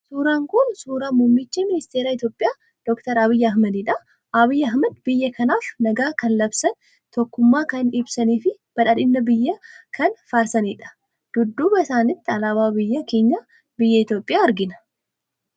Suuraan kun suuraa Muummicha Ministeera Itoophiyaa Dookter Abiyyi Ahmedidha. Abiyyi Ahmed biyya kanaaf nagaa kan labsan, tokkummaa kan ibsanii fi badhaadhina biyyaa kan faarsanidha. Dudduuba isaaniitti alaabaa biyya keenya biyya Itoophiyaa argina.